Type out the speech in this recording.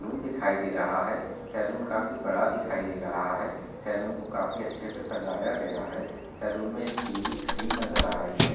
दिखाई दे रहा है। सैलून काफी बड़ा दिखाई दे रहा है। सैलून को काफी अच्छे से सजाया गया है। सैलून में एक टीवी स्क्रीन नजर आ रही है।